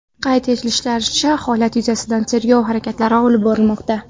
Qayd etishlaricha, holat yuzasidan tergov harakatlari olib borilmoqda.